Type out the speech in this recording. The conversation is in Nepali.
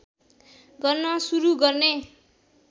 गर्न सुरु गर्ने